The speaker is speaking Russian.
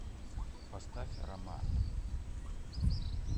поставь аромат